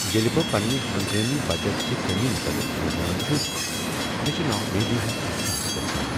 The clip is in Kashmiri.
ییٚلہ بہٕ پننہ ہنگٲمی بچتٕ چہِ کٔمی متعلق سونچان چھس مےٚ چھ نا امیدی ہنٛد احساس گژھان۔